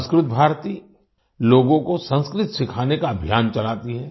संस्कृत भारती लोगों को संस्कृत सिखाने का अभियान चलाती है